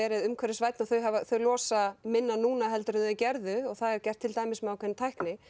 verið umhverfisvænni og þau þau losa minna núna en þau gerðu það er gert til dæmis með ákveðinni tækni